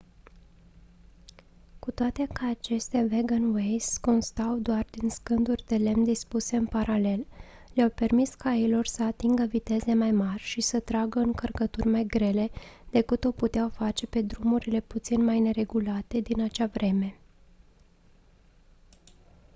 cu toate că aceste wagonways constau doar din scânduri de lemn dispuse în paralel le-au permis cailor să atingă viteze mai mari și să tragă încărcături mai grele decât o puteau face pe drumurile puțin mai neregulate din acea vreme